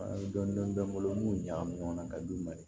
dɔn bɛ n bolo n b'u ɲagami ɲɔgɔn na ka d'u ma de